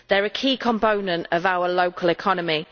They are a key component of our local economy.